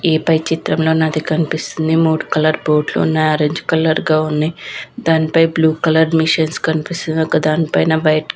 ఈ పై చిత్రంలో నాది కనిపిస్తుంది. మూడు కలర్లు బోట్లు ఉన్నాయి. ఆరెంజ్ కలర్ గా ఉన్నాయి. దానిపై బ్లూ కలర్ మిషన్లు కనిపిస్తున్నాయి. ఇంకా దానిపైన వైట్ --